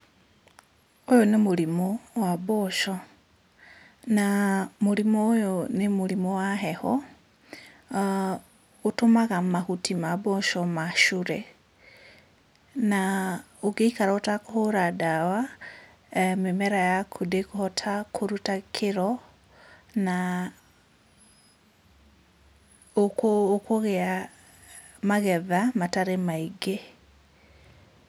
Ũyũ nĩ mũrimũ wa mboco, na mũrimũ ũyũ nĩ mũrimũ wa heho, na ũtũmaga mahuti ma mboco macure. Na ũngĩikara ũtakũhũra ndawa, mĩmera yaku ndĩkũhota kũruta kĩroo, na ũkũ ũkũgĩa magetha matarĩ maingĩ.